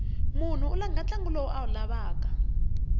mnhu u langha ntlangu lowu a wu rhandzaku